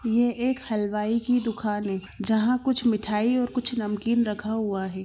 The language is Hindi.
ये एक हलवाई की दुकान है जहाँ कुछ मिठाई और कुछ नमकीन रखा हुआ हे।